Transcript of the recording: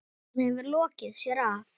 Hann hefur lokið sér af.